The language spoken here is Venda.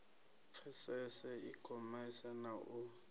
pfesese i khomese na u